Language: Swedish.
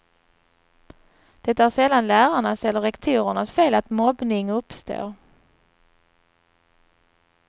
Det är sällan lärarnas eller rektorernas fel att mobbning uppstår.